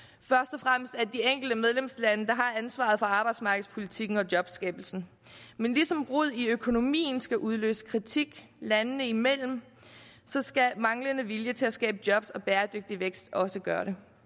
og fremmest de enkelte medlemslande der har ansvaret for arbejdsmarkedspolitikken og jobskabelsen men ligesom rod i økonomien skal udløse kritik landene imellem skal manglende vilje til at skabe job og bæredygtig vækst også gøre det